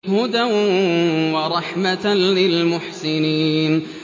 هُدًى وَرَحْمَةً لِّلْمُحْسِنِينَ